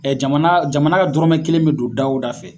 Jamana jamana dɔrɔmɛ kelen bi don dawo da fɛ